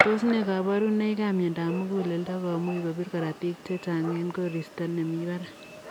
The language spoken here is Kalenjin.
Tos nee kabarunoik ap miandap muguleldoo komuuch kopirr korotik chechang eng koristo emii barak ?